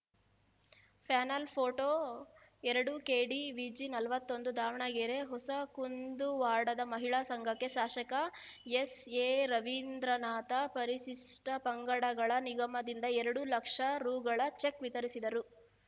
panel photo ಎರಡು KDVG ನಲವತ್ತೊಂದು ದಾವಣಗೆರೆ ಹೊಸ ಕುಂದುವಾಡದ ಮಹಿಳಾ ಸಂಘಕ್ಕೆ ಶಾಸಕ ಎಸ್‌ಎರವೀಂದ್ರನಾಥ ಪರಿಶಿಷ್ಟಪಂಗಡಗಳ ನಿಗಮದಿಂದ ಎರಡು ಲಕ್ಷ ರುಗಳ ಚೆಕ್‌ ವಿತರಿಸಿದರು